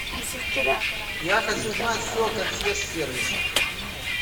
я хочу знать все о консьерж сервисе